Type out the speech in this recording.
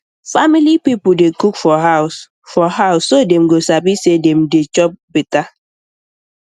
family people dey cook for house for house so dem go sabi say dem dey um chop um better